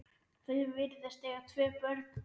Þau virðast eiga tvö börn.